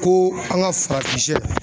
Ko an ka farafin shɛ